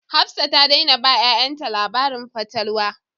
Hafsat ta daina ba 'ya'yanta labarin fatalwa